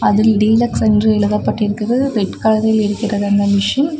அதில் டீலக்ஸ் என்று எழுதப்பட்டிருக்குது ரெட் கலரில் இருக்கிறது அந்த மெஷின் .